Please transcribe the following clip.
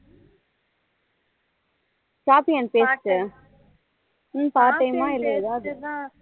copy and paste ஹம் part time ஏதாவது